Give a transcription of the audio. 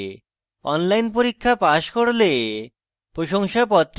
online পরীক্ষা pass করলে প্রশংসাপত্র দেয়